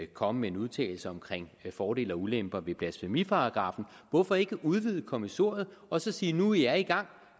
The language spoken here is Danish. komme med en udtalelse om fordele og ulemper ved blasfemiparagraffen hvorfor ikke udvide kommissoriet og så sige nu i er i gang